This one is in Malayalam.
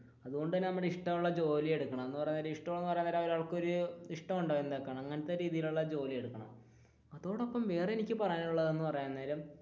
അതുകൊണ്ട് തന്നെ നമ്മുടെ ഇഷ്ടമുള്ള ജോലി എടുക്കണം എന്ന് പറയാൻ നേരം അതോടൊപ്പം വേറെ എനിക്ക് പറയാനുള്ളത് എന്ന് പറയാൻ നേരം,